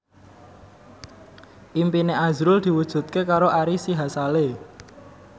impine azrul diwujudke karo Ari Sihasale